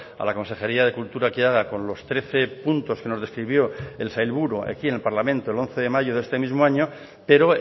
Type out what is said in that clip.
a la consejería de cultura que haga con los trece puntos que nos describió el sailburu aquí en el parlamento el once de mayo de este mismo año pero